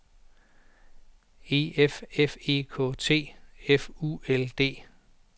E F F E K T F U L D